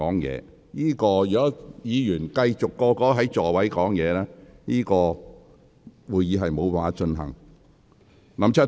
如果議員繼續在座位上說話，會議將無法繼續進行。